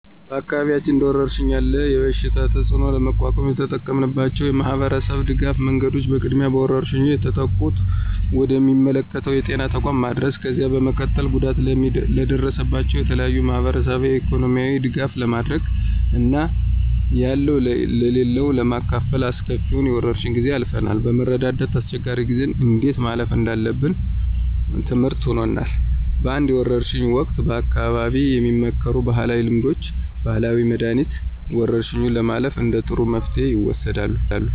በአካባቢያችን እንደወረርሽኝ ያለ የበሽታ ተፅእኖ ለመቋቋም የተጠቀምንባቸው የማህበረሰብ ድጋፍ መንገዶች በቅድሚያ በወረርሽኙ የተጠቁትን ወደ ሚመለከተው የጤና ተቋም ማድረስ፣ ከዚያ በመቀጠል ጉዳት ለደረሰባቸው የተለያዩ የማህበራዊና ኢኮኖሚያዊ ድጋፍ በማድረግ እና ያለው ለሌለው በማካፈል አስከፊውን የወረርሽ ጊዜ አልፈናል። በመረዳዳት አስቸጋሪ ጊዜን እንዴት ማለፍ እንዳለብን ትምርህት ሆኖናል። በአንዳንድ የወርሽ ወቅት በአካባቢው የሚመከሩ ባህላዊ ልምዶች፣ ባህላዊ መድኃኒት፣ ወረርሽኙን ለማለፍ እንደ ጥሩ መፍትሄ ይወሰዳሉ።